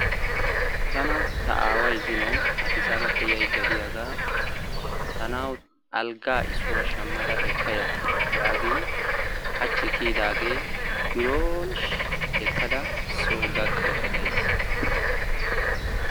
tana ta aaway zino adisaabappe yaydda diyaagaa tanawu alggaa issuwa shammada ekkaya yaagin haachchi kiyidaage biron ekkada soo gakkaydda days.